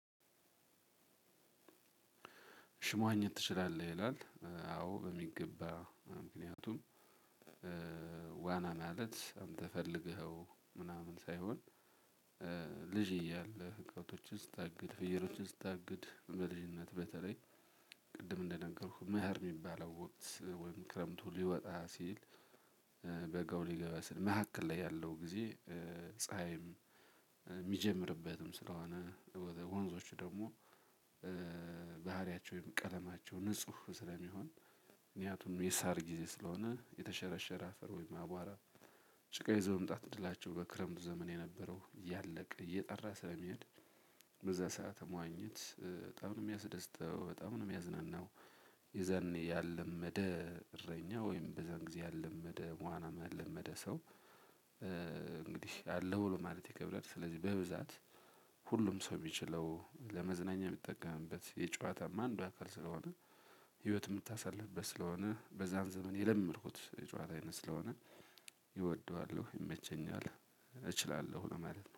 ሽሟኘት ትችላለህ ይላል አዎ በሚገባ ምክንያቱም ዋና ማለት እንደፈለገኸው ምናምን ሳይሆን ልጅ እያለ ከብቶችን ስታግድ ፍየሎችን ስታግድ በልጅነት በተለይ ቅድም እንደነገርኩህ መኸር የሚባለው ወቅት ወይም ክረምቱ ሊወጣ ሲል በጋው ሊገባ ስል መካከል ላይ ያለው ጊዜ ፀሀይም የሚጀምርበትም ስለሆነ ወንዞች ደግሞ ባህሪያቸው ወይም ቀለማቸው ንጹህ ስለሚሆን ምክንያቱም የሳር ጊዜ ስለሚሆን የተሸረሸረ አፈር ወይም አቧራ ጭቃ ይዞ መምጣት እድላቸው በክረምቱ ዘመን የነበረው ያለቀ እየጠራ ስለሚሄድ በዛ ሰዓት መዋኘት በጣም ነው የሚያስደስተው በጣም ነው የሚያዝናናው። የዘኔ ያለመደ እረኛ ወይም በዘን ጊዜ ያለመደ ዋና የለመደ ሰው ያለው ማለት ይከብዳል። ስለዚህ በብዛት ሁሉም ሰው ቢችለው ለመዝናኛ ሚጠቀምበት የጨዋታም አንዱ አካል ስለሆነ። ህይወት ምታሳልፍበት ስለሆነ በዛን ዘመን የለመድኩት የጨዋታ አይነት ስለሆነ ይወደዋለሁ ይመቸኛል እችላለሁ ለማለት ነው